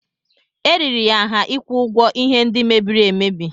Eriri ya nha ịkwụ ụgwọ ihe ndị mebiri emebi.